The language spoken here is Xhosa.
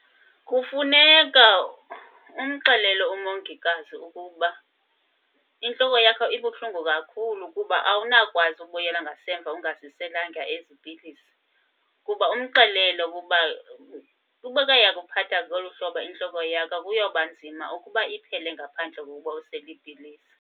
Kufuneka umxelele umongikazi ukuba intloko yakho ibuhlungu kakhulu kuba awunawukwazi ukubuyela ngasemva ungaziselanga ezi pilisi. Kuba umxelele ukuba ubekhe yakuphatha ngolu hlobo intlobo yakho, kuyoba nzima ukuba iphele ngaphandle kokuba usele iipilisi.